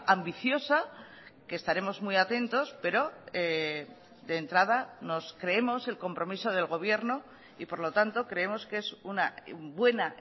ambiciosa que estaremos muy atentos pero de entrada nos creemos el compromiso del gobierno y por lo tanto creemos que es una buena